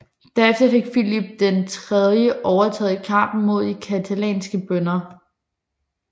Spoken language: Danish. Der efter fik Filip IV overtaget i kampen mod de catalanske bønder